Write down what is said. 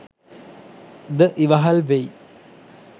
ද ඉවහල් වෙයි.